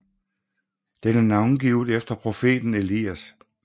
Den er navngivet efter profeten Elias